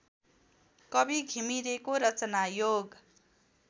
कवि घिमिरेको रचनायोग